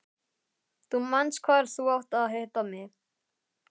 Þú manst hvar þú átt að hitta mig.